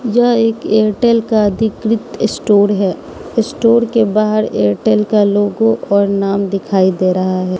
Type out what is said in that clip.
यह एक एयरटेल का अधिकृत स्टोर है स्टोर के बाहर एयरटेल का लोगो और नाम दिखाई दे रहा है।